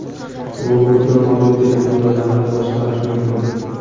Robotni mobil telefon yordamida boshqarish mumkin.